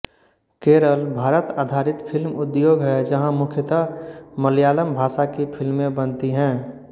केरल भारत आधारित फ़िल्म उद्योग है जहाँ मुख्यतः मलयालम भाषा की फ़िल्में बनती हैं